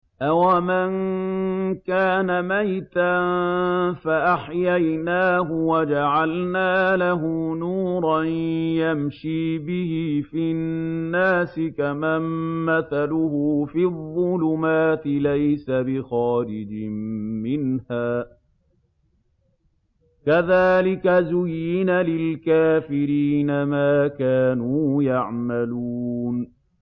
أَوَمَن كَانَ مَيْتًا فَأَحْيَيْنَاهُ وَجَعَلْنَا لَهُ نُورًا يَمْشِي بِهِ فِي النَّاسِ كَمَن مَّثَلُهُ فِي الظُّلُمَاتِ لَيْسَ بِخَارِجٍ مِّنْهَا ۚ كَذَٰلِكَ زُيِّنَ لِلْكَافِرِينَ مَا كَانُوا يَعْمَلُونَ